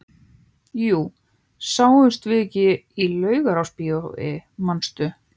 Jú, sáumst við ekki í Laugarásbíói, manstu?